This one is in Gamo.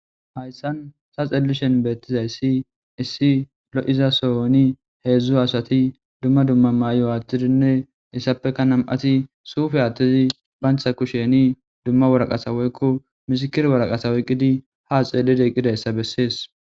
hayssan sa xellishen beettizayssi issi lo7iza soyoni heedzdzu asati dumma dumma mayo aathtidinne issappeka nam7ati suufe aattezi bantha kusheni dumma woraqasa woykko misikir woraqasa oyqqidi haa xeellid eqqidayssa bessees